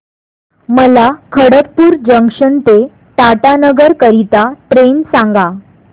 मला खडगपुर जंक्शन ते टाटानगर करीता ट्रेन सांगा